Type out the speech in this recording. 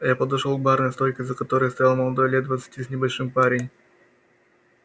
я подошёл к барной стойке за которой стоял молодой лет двадцати с небольшим парень